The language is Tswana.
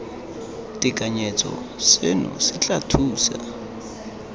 tekanyetso seno se tla thusa